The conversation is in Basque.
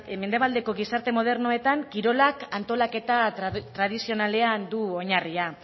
mendebaldeko gizarte modernoetan kirolak antolaketa tradizionalean du oinarria